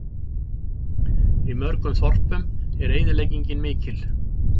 Í mörgum þorpum er eyðileggingin mikil